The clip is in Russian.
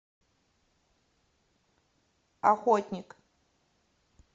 охотник